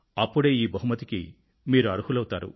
అప్పుడే ఈ బహుమతికి మీరు అర్హులవుతారు